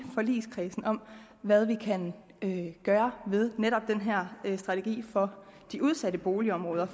forligskredsen om hvad vi kan gøre med netop den her strategi for de udsatte boligområder